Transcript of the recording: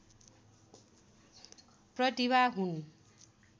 प्रतिभा हुन्